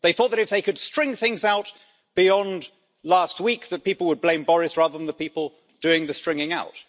They thought that, if they could string things out beyond last week, people would blame Boris rather than the people doing the stringing out.